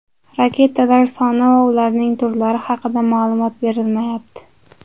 Raketalar soni va ularning turlari haqida ma’lumot berilmayapti.